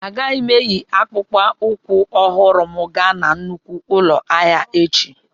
Agaghị m eyi akpụkpọ ụkwụ ọhụrụ m gaa na nnukwu ụlọ ahịa echi